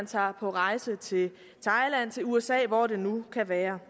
tager på rejse til thailand usa eller hvor det nu kan være